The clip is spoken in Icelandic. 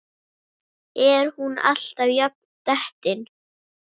Er hún alltaf jafn dettin?